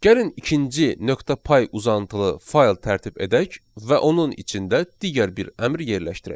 Gəlin ikinci .py uzantılı fayl tərtib edək və onun içində digər bir əmr yerləşdirək.